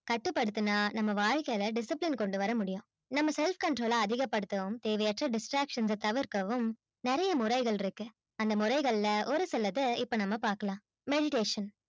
கட்டுப்படுத்துனா நம்ம வாழ்க்கையில discipline கொண்டு வர முடியும் நம்ம selfcontrol அ அதிகப்படுத்தவும் தேவையற்ற distractions அ தவிர்க்கவும் நிறைய முறைகள் இருக்கு அந்த முறைகள்ல ஒரு சிலது இப்ப நம்ம பார்க்கலாம் meditation